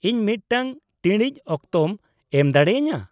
-ᱤᱧ ᱢᱤᱫᱴᱟᱝ ᱴᱤᱲᱤᱡ ᱚᱠᱛᱚᱢ ᱮᱢ ᱫᱟᱲᱮᱭᱟᱹᱧᱟᱹ ?